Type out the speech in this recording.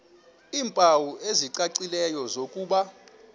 iimpawu ezicacileyo zokuba